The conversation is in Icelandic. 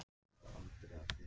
Kirkjugerði